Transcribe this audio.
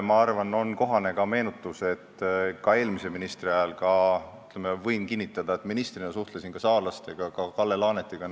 Ma arvan, et on kohane Tanel Talvele meenutada, et ministrina suhtlesin ka saarlastega, näiteks Kalle Laanetiga.